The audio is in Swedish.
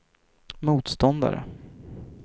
motståndare